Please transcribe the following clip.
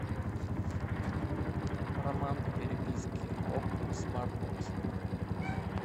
роман по переписке окко смарт бокс